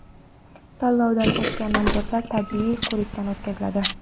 Tanlovdan o‘tgan nomzodlar tibbiy ko‘rikdan o‘tkaziladi.